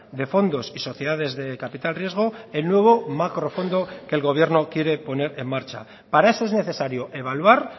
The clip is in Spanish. de fondos y sociedades de capital riesgo el nuevo macrofondo que el gobierno quiere poner en marcha para eso es necesario evaluar